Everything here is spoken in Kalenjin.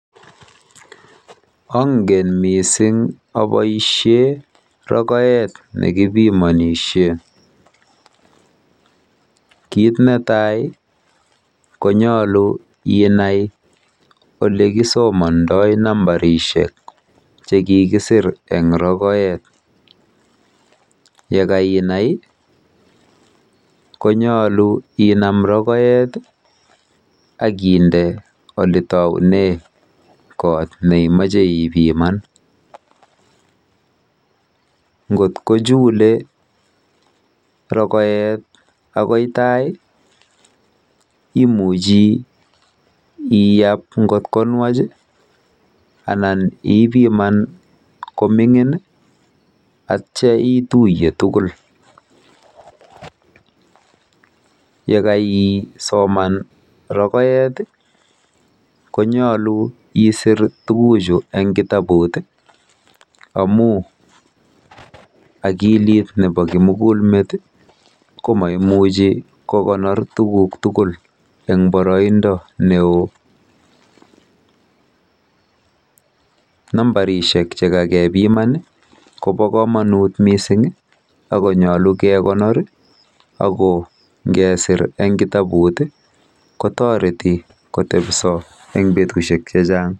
Eee. Oboisien rogort nekipimonishei. Kit netai kotomo aboisie rogoet nekipimonishee konyolu anai asoman sirutik chemi rokoet